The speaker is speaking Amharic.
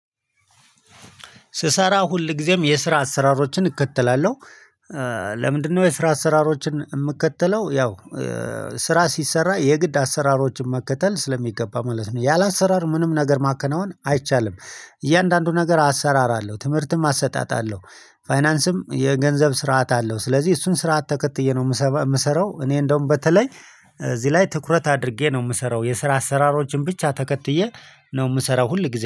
ስሰራ ሁል ጊዜም የስራ አሰራሮችን እከተላለሁ ለምንድነው የስራ አሰራሮችን የምከተለው ያው ስራ ሲሰራ የግድ አሰራሮችን መከተል ስለሚገባ ማለት ነው። ያለ አሰራር ምንም ነገር ማከናወን አይቻልም። እያንዳንዱ ነገር አሰራር አለው። ትምህርትም አሰጣጥ አለዉ። ፋይናንስም የገንዘብ ስርዓት አለው። ስለዚህ እሱን ስርዓት ተከትዬ ነው የምሰራው እኔ እንደውም በተለይ እዚህ ላይ ትኩረት አድርጌ ነው የምሰራው የስራ አሰራሮችን ብቻ ተከትዬ ነው የምሰራው ሁል ጊዜ